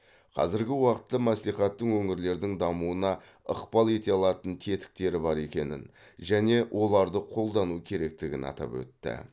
қазіргі уақытта мәслихаттың өңірлердің дамуына ықпал ете алатын тетіктері бар екенін және оларды қолдану керектігін атап өтті